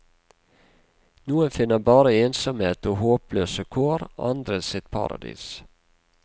Noen finner bare ensomhet og håpløse kår, andre sitt paradis.